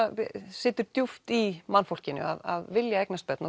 situr djúpt í mannfólkinu að vilja eignast börn